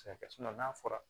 n'a fɔra